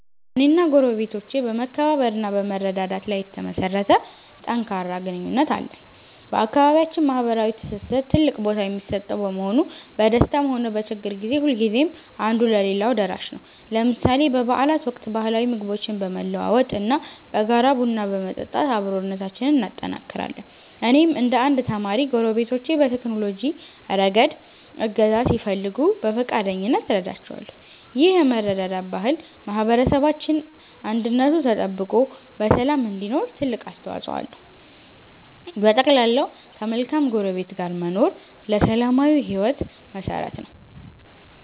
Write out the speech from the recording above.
እኔና ጎረቤቶቼ በመከባበር እና በመረዳዳት ላይ የተመሠረተ ጠንካራ ግንኙነት አለን። በአካባቢያችን ማኅበራዊ ትስስር ትልቅ ቦታ የሚሰጠው በመሆኑ፣ በደስታም ሆነ በችግር ጊዜ ሁልጊዜም አንዱ ለሌላው ደራሽ ነው። ለምሳሌ በበዓላት ወቅት ባህላዊ ምግቦችን በመለዋወጥ እና በጋራ ቡና በመጠጣት አብሮነታችንን እናጠናክራለን። እኔም እንደ አንድ ተማሪ፣ ጎረቤቶቼ በቴክኖሎጂ ረገድ እገዛ ሲፈልጉ በፈቃደኝነት እረዳቸዋለሁ። ይህ የመረዳዳት ባህል ማኅበረሰባችን አንድነቱ ተጠብቆ በሰላም እንዲኖር ትልቅ አስተዋፅኦ አለው። በጠቅላላው፣ ከመልካም ጎረቤት ጋር መኖር ለሰላማዊ ሕይወት መሠረት ነው።